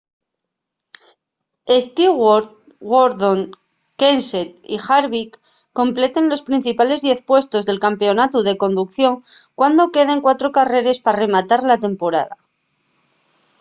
stewart gordon kenseth y harvick completen los principales diez puestos del campeonatu de conducción cuando queden cuatro carreres pa rematar la temporada